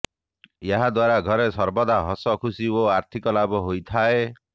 ଏହାଦ୍ୱାରା ଘରେ ସର୍ବଦା ହସଖୁସି ଓ ଆର୍ଥିକ ଲାଭ ହୋଇଥାଏ